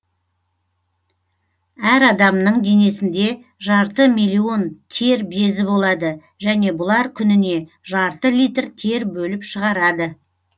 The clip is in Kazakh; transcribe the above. әр адамның денесінде жарты миллион тер безі болады және бұлар күніне жарты литр тер бөліп шығарады